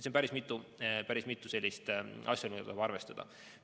Nii et on päris mitu asjaolu, mida tuleb arvestada.